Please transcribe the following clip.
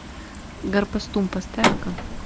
гарпастум поставь ка